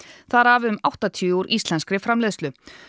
þar af um áttatíu úr íslenskri framleiðslu